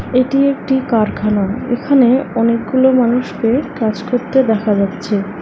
এটি একটি কারখানা এখানে অনেকগুলো মানুষকে কাজ করতে দেখা যাচ্ছে।